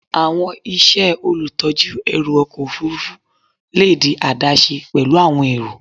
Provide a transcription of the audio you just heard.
Awọn iṣẹ olutọju ẹru ọkọ ofurufu le di adaṣe pẹlu awọn ẹrọ